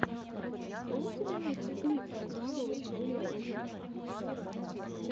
что у тебя есть из миксов молодого чебурека